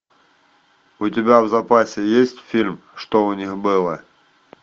у тебя в запасе есть фильм что у них было